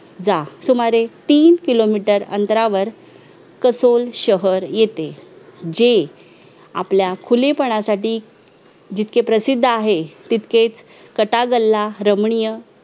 जा सुमारे तीन किलो मित्र अंतरावर कंसोल शहर होते जे आपल्या खुलेपणासाठी जिथके प्रसिद्ध आहे तितकेच कथा गला रमणीय